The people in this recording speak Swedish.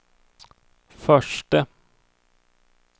förste